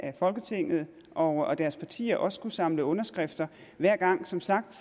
af folketinget og deres partier også skulle samle underskrifter hver gang som sagt